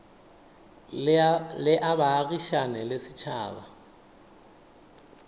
le a baagišane le setšhaba